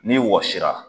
N'i wɔsira